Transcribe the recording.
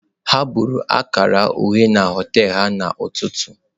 Ha buru akara uhie na họtel ha n'ụtụtụ.